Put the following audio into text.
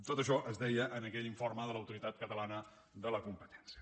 tot això es deia en aquell informe de l’autoritat catalana de la competència